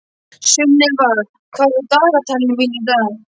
Sunnefa, hvað er á dagatalinu mínu í dag?